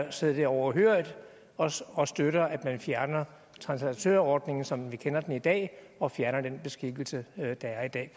at sidde det overhørig og og støtter at man fjerner translatørordningen som vi kender den i dag og fjerner den beskikkelse der er i dag